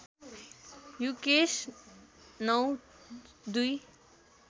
Yukesh ०९ ०२